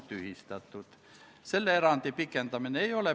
Lugupeetud ettekandja, teile küsimusi ei ole.